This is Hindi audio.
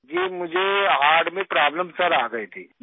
जी मुझे हर्ट में प्रोब्लेम सिर आ गई थी मेरे